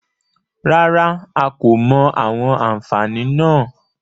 Rárá, a kò mọ àwọn àfààní náà.